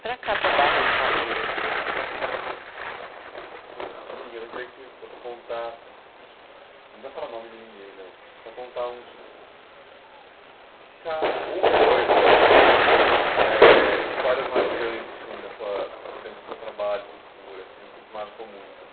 Para cá, para o bairro Palmeiras já. Eu queria que você contasse, não precisa falar o nome de ninguém não, só contar um é histórias mais marcantes dentro do seu trabalho